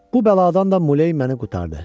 Bu bəladan da Muley məni qurtardı.